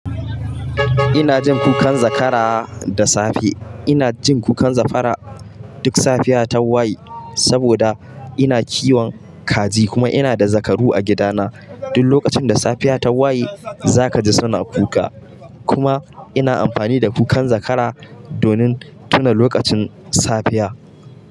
Ina jin kukan zakara da safe. Ina jin kukan zakara duk safiya ta wayi, saboda ina kiwon kaji kuma ina da zakaru a gidana. Duk lokacin da safiya ta wayi, zaka ji suna kuka. Kuma ina amfani da kukan zakara donin tuna lokacin safiya.